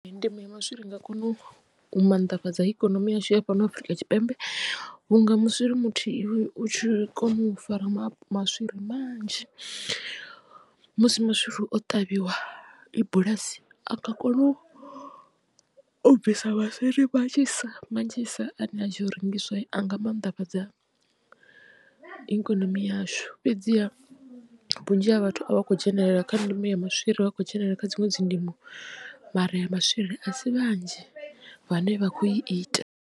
Ndimo ya maswiri i nga kona u mannḓafhadza ikonomi yashu ya fhano Afurika Tshipembe vhunga muswiri muthihi u tshi kona u fara maswiri manzhi musi maswiri o ṱavhiwa i bulasi a nga kono u bvisa maswiri manzhisa manzhisa ane a tshi ya u rengiswa anga mannḓafhadza ikonomi yashu fhedziha vhunzhi ha vhathu a vha khou dzhenelela kha ndimo ya maswiri vha khou dzhenelela kha dziṅwe dzi ndimo mara ya maswiri a si vhanzhi vhane vha khou i ita.